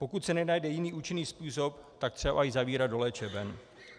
Pokud se nenajde jiný účinný způsob, tak třeba i zavírat do léčeben.